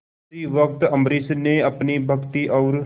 उसी वक्त अम्बरीश ने अपनी भक्ति और